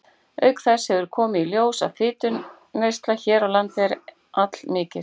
Auk þess hefur komið í ljós, að fituneysla hér á landi er allmikil.